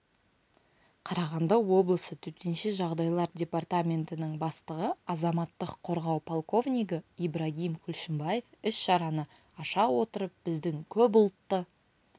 қарағанды облысы төтенше жағдайлар департаментінің бастығы азаматтық қорғау полковнигі ибрагим күлшімбаев іс-шараны аша отырып біздің көпұлтты